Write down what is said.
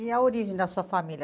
E a origem da sua família?